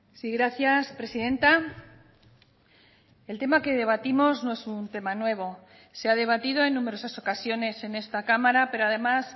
sí gracias presidenta el tema que debatimos no es un tema nuevo se ha debatido en numerosas ocasiones en esta cámara pero además